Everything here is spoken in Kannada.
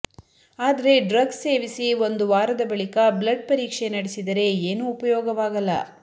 ಆದರೆ ಡ್ರಗ್ ಸೇವಿಸಿ ಒಂದು ವಾರದ ಬಳಿಕ ಬ್ಲಡ್ ಪರೀಕ್ಷೆ ನಡೆಸಿದರೆ ಏನೂ ಉಪಯೋಗವಾಗಲ್ಲ